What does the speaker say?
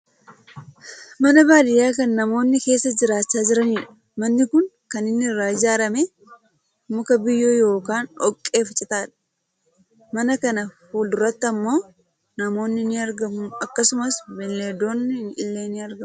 Mana baadiyyaa kan namoonni keessa jiraachaa jiranidha. Manni kun kan inni irraa ijaarrame muka, biyyoo yookaan dhoqqee fi citaadha. Mana kana fuulduratti ammoo namoonni ni argamu akkasumas beenldonni illee ni argamu.